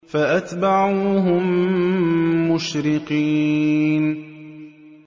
فَأَتْبَعُوهُم مُّشْرِقِينَ